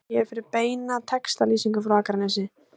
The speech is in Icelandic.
Smelltu hér fyrir beina textalýsingu frá Akranesi